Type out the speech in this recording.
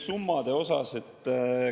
Summadest rääkides …